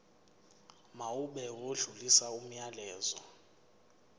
mawube odlulisa umyalezo